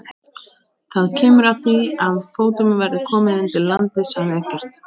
Það kemur að því að fótum verður komið undir landið, sagði Eggert.